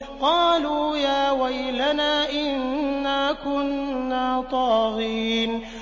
قَالُوا يَا وَيْلَنَا إِنَّا كُنَّا طَاغِينَ